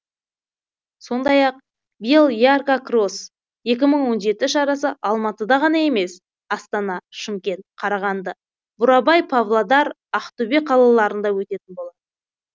сондай ақ биыл ярко кросс екі мың он жеті шарасы алматыда ғана емес астана шымкент қарағанды бурабай павлодар ақтөбе қалаларында өтетін болады